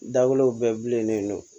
Dawudaw bɛɛ bilenin don